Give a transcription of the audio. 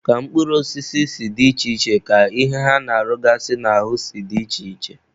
Ka mkpụrụ osisi si dị iche iche ka ihe ha na-arụgasị n'ahụ si dị iche iche.